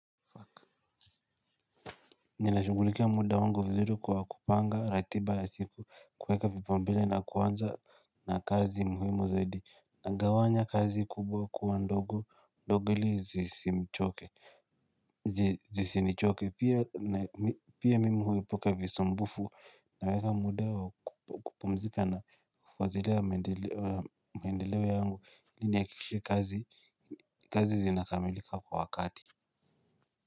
Ninashughulikia muda wangu vizuri kwa kupanga ratiba ya siku kuweka vipaumbele na kuanza na kazi muhimu zaidi. Nagawanya kazi kubwa kuwa ndogo, ndogo ili zisimchoke, zisinichoke pia mimi huepuka visumbufu naweka muda wa kupumzika na kufuatilia maendeleo yangu nihakikishe kazi, kazi zinakamilika kwa wakati.